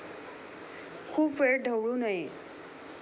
खूप वेळ ढवळू नये.